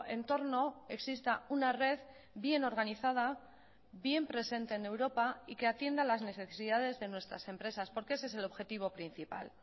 entorno exista una red bien organizada bien presente en europa y que atienda las necesidades de nuestras empresas porque ese es el objetivo principal